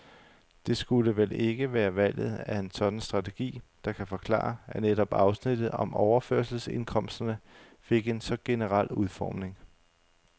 Det skulle vel ikke være valget af en sådan strategi, der kan forklare, at netop afsnittet om overførselsindkomsterne fik en så generel udformning.